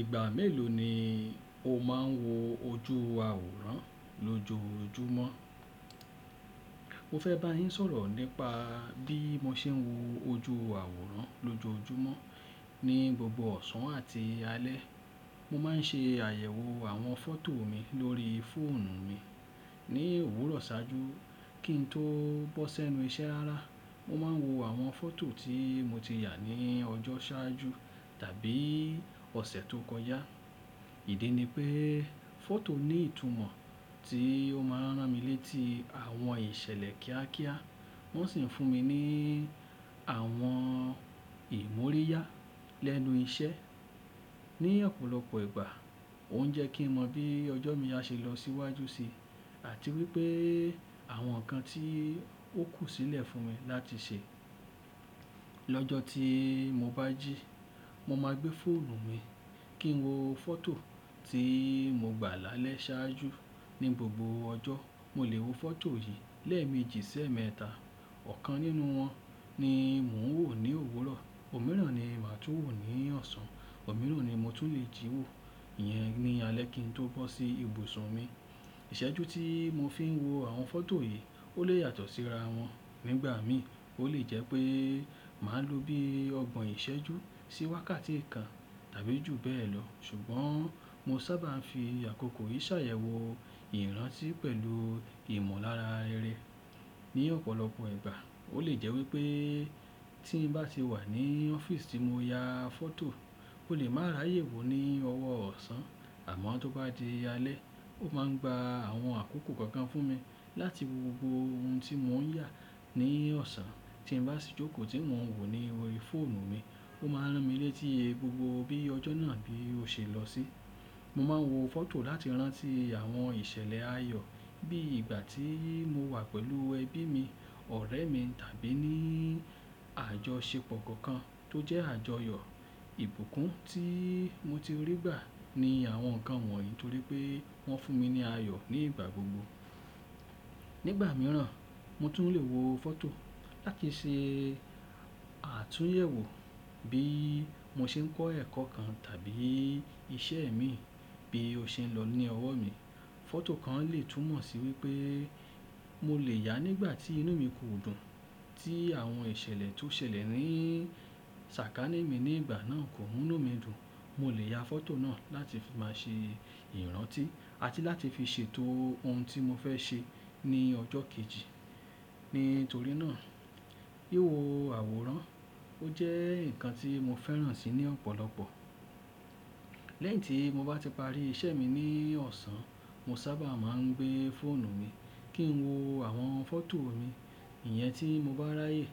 Ìgbà mélòó ni o máa ń wo ojú àwòrán lójoojúmọ́? Mo fẹ́ bá yín sọ̀rọ̀ nípa bí mo ṣe ń wo ojú àwòrán lójoojúmọ́ ní gbogbo ọ̀sán àti alẹ́. Mo máa ń ṣe àyẹ̀wò àwọn fọ́tò mi lórí fóònù mi ní òwúrọ̀ ṣáájú kí n tó bọ́ sẹ́nu iṣẹ́ rárá. Mo máa ń wo àwọn fọ́tò tí mo ti yà ní ọjọ́ ṣáájú tàbí ọ̀sẹ̀ tó kọjá. Ìdí ni pé, fọ́tò ní ìtumọ̀ tí ó máa ń rán mi létí àwọn ìṣẹ̀lẹ̀ kíákíá, wọ́n sì ń fún mi ní àwọn ìmọ́ríyá lẹ́nu iṣẹ́. Ni ọ̀pọ̀lọpọ̀ ìgbà ó ń jẹ́ kí mọ bí ọjọ́ mi á ṣe lọ síwájú sí, àti wípé àwọn nǹkan tí ó kù sílẹ̀ fún mi láti ṣe. Lọ́jọ́ tí mo bá jí, mo máa gbé fóònù mi kí n wo fọ́tò tí mo gbà lálẹ́ ṣáájú. Ni gbogbo ọjọ́, mo lè wo fọ́tò yìí lẹ́ẹ̀mejì sẹ́ẹ̀mẹ́ta. Ọ̀kan nínú wọn ni mò ń wò ní òwúrọ̀, òmíràn ni màá tú wò ní ọ̀sán, òmíràn ni mo tún lè jí wò, ìyẹn ni alẹ́ kí n tó bọ́ sí ibùsùn mi. Ìṣẹ́jú tí mo fi ń wo àwọn fọ́tò yìí ó lè yà tọ̀ síra wọ́n. Nígbà mi, ó lè jẹ́ pé màá lò bí ọgbọ̀n ìṣẹ́jú sí wákàtí kan tàbí jù bẹ́ẹ̀ lọ, ṣùgbọ́n mo sábà ń fi àkókò yìí ṣàyẹ̀wò ìrántí pẹ̀lú ìmọ̀lára irẹ̀. Ni ọ̀pọ̀lọpọ̀ ìgbà ó lè jẹ́ wípé tí ń bá sì wà ní ọ́fíìsì ti mo yà fọ́tò, ó lè má ráyè wò ní ọwọ́ ọ̀sán. Àmọ́ tó bá di alẹ́, ó máa ń gba àwọn àkókò kankan fún mi láti wo gbogbo ohun tí mò ń yà ní ọ̀sán. Tí ń bá sì jókòó tí mò ń wò ní orí fóònù mi, ó máa ń rán mi létí gbogbo bí ọjọ́ náà bí ó ṣe lọ sí. Mo máa ń wo fọ́tò láti rántí àwọn ìṣẹ̀lẹ̀ ayọ̀ bí ìgbà tí mo wà pẹ̀lú ẹbí mi, ọ̀rẹ́ mi tàbí ní àjọṣepọ̀ kokan tó jẹ́ àjọyọ̀. Ibùkún tí mo ti rí gbà ni àwọn nǹkan wọ̀nyí torí pé wọ́n fún mi ní ayọ̀ ní ìgbà gbogbo. Nígbà mìíràn, mo tún lè wo fọ́tò láti ṣe àtúnyẹ̀wò bí mo ṣe ń kọ́ ẹ̀kọ́ kan tàbí iṣẹ́ mi bí ó ṣe ń lọ ní ọwọ́ mi. Fọ́tò kan lè tún mọ̀ sí wípé mo lè yà nígbà tí inú mi kò dùn, tí àwọn ìṣẹ̀lẹ̀ tó ṣẹlẹ̀ ní sàkání mi ní ìgbà náà kò mú inú mi dùn. Mo lè yà fọ́tò náà láti máa ṣe ìrántí àti láti fi ṣètò ohun tí mo fẹ́ ṣe ní ọjọ́ kejì. Nítorí náà, wìwo àwòrán ó jẹ́ ǹkan tí mo fẹ́ràn si ní ọ̀pọ̀lọpọ̀. Lẹ́yìn tí mo bá ti parí iṣẹ́ mi ní ọ̀sán, mo sábà máa ń gbé fóònù mi kí n wo àwọn fọ́tò mi, ìyẹn tí mo bá ráyè